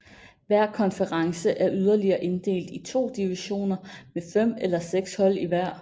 Hver konference er yderligere inddelt i to divisioner med fem eller seks hold i hver